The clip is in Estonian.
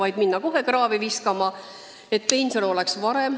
Äkki minna kohe kraavi kaevama ja varem pensionile minna?